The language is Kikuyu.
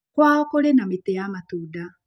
Kwao kũrĩ na mĩtĩ ya matunda.